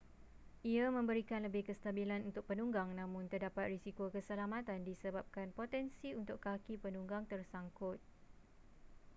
ia memberikan lebih kestabilan untuk penunggang namun terdapat risiko keselamatan disebabkan potensi untuk kaki penunggang tersangkut